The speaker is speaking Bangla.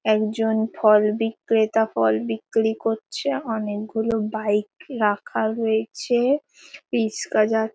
একজন ফল বিক্রেতা ফল বিক্রি করছে। অনেকগুলো বাইক রাখা রয়েছে। রিস্কা যা --